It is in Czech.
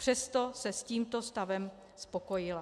Přesto se s tímto stavem spokojila.